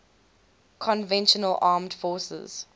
conventional armed forces